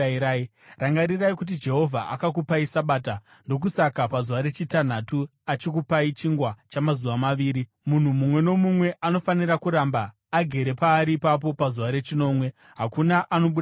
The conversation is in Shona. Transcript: Rangarirai kuti Jehovha akakupai Sabata; ndokusaka pazuva rechitanhatu achikupai chingwa chamazuva maviri. Munhu mumwe nomumwe anofanira kuramba agere paari ipapo pazuva rechinomwe; hakuna anobuda kunze.”